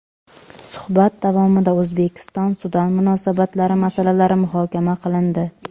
Suhbat davomida O‘zbekiston - Sudan munosabatlari masalalari muhokama qilindi.